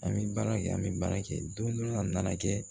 An bɛ baara kɛ an bɛ baara kɛ don dɔ la a nana kɛ